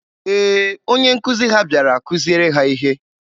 Ee, onye nkuzi ha bịara kuziere ha ihe.